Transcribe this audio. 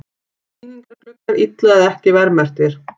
Sýningargluggar illa eða ekki verðmerktir